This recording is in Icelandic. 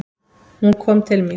Hún kom til mín.